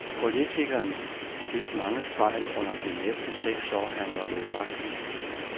Politikeren begik mange fejl under de næsten seks år, han var ved magten.